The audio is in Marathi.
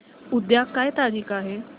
उद्या काय तारीख आहे